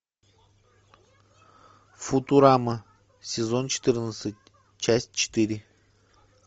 футурама сезон четырнадцать часть четыре